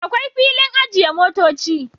Akwai filin ajiye motoci